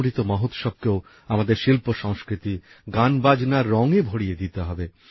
অমৃত মহোৎসবকেও আমাদের শিল্পসংস্কৃতি গানবাজনার রঙে ভরিয়ে দিতে হবে